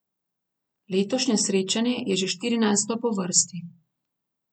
Letošnje srečanje je že štirinajsto po vrsti.